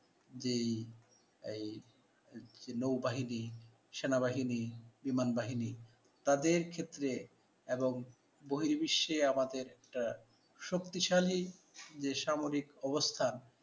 যে এই এই নৌবাহিনী, সেনাবাহিনী, বিমানবাহিনী তাদের ক্ষেত্রে এবং বহির্বিশ্বে আমাদের একটা শক্তিশালী যে সামরিক অবস্থা